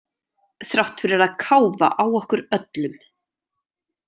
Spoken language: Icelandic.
Þrátt fyrir að káfa á okkur öllum.